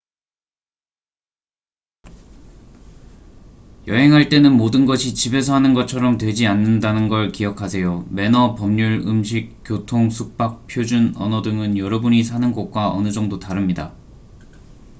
"여행할 때는 모든 것이 "집에서 하는 것처럼" 되지 않는다는 걸 기억하세요. 매너 법률 음식 교통 숙박 표준 언어 등은 여러분이 사는 곳과 어느 정도 다릅니다.